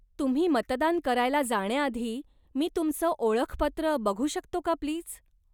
तुम्ही मतदान करायला जाण्याआधी मी तुमचं ओळखपत्र बघू शकतो का प्लीज?